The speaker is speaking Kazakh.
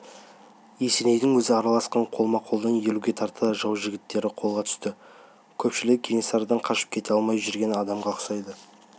есенейдің өзі араласқан қолма-қолдан елуге тарта жау жігіттері қолға түсті көпшілігі кенесарыдан қашып кете алмай жүрген адамға ұқсайды